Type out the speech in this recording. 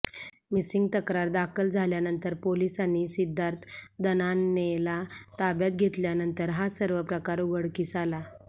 missing तक्रार दाखल झाल्यानंतर पोलिसांनी सिद्धार्थ दणानेला ताब्यात घेतल्यावर हा सर्व प्रकार उघडकीस आला